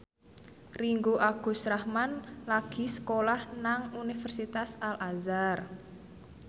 Ringgo Agus Rahman lagi sekolah nang Universitas Al Azhar